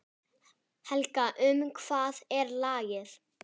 Hvað getur skýrt þennan mun?